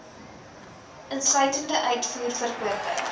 insluitend uitvoer verkope